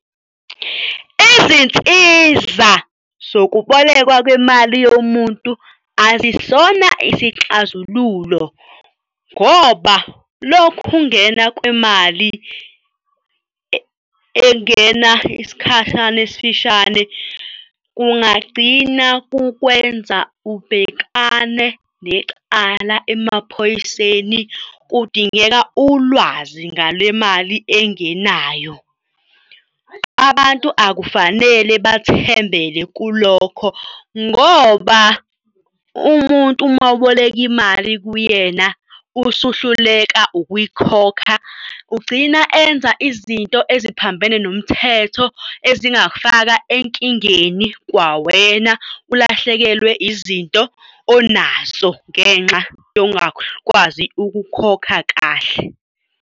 Izinsiza zokubolekwa kwemali yomuntu asisona isixazululo ngoba lokhu kungena kwemali engena isikhashana esifishane kungagcina kukwenza ubhekane necala emaphoyiseni kudingeka ulwazi ngale mali engenayo. Abantu akufanele bathembele kulokho ngoba umuntu uma uboleka imali kuyena usuhluleka ukuyikhokha, ugcina enza izinto eziphambene nomthetho ezingafaka enkingeni kwawena ulahlekelwe izinto onazo ngenxa yokungakwazi ukukhokha kahle.